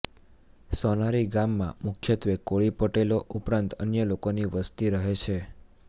સોનારી ગામમાં મુખ્યત્વે કોળી પટેલો ઉપરાંત અન્ય લોકોની વસ્તી રહે છે